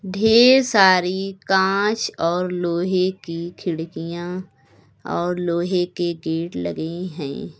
ढेर सारी कांच और लोहे की खिड़कियां और लोहे के गेट लगे हैं।